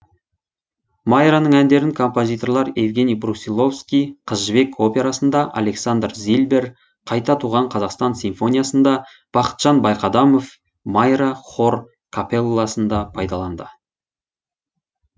майраның әндерін композиторлар евгений брусиловский қыз жібек операсында александр зильбер қайта туған қазақстан симфониясында бақытжан байқадамов майра хор капелласында пайдаланды